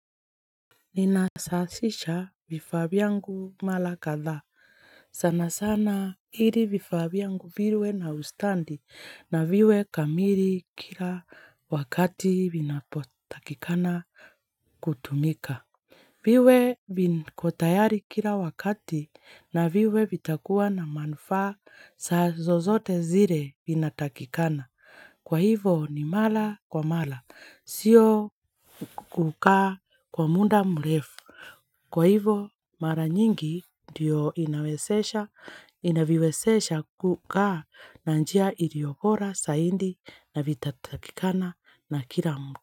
Ninasasisha vifaa vyangu mala kadhaa. Sana sana hili vifaa vyangu virwe na ustandi na viwe kamiri kila wakati vinapotakikana kutumika. Viwe viko tayari kila wakati na viwe vitakuwa na manufsa saa zozote zire inatakikana. Kwa hivo ni mala kwa mala. Sio kukaa kwa munda mrefu. Kwa hivo mara nyingi ndiyo inawesesha. Inaviwesesha kukaa na njia ilio bora saindi na vitatakikana na kila mtu.